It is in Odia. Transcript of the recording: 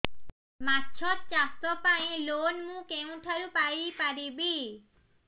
ମାଛ ଚାଷ ପାଇଁ ଲୋନ୍ ମୁଁ କେଉଁଠାରୁ ପାଇପାରିବି